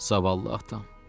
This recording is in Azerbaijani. Zavallı atam!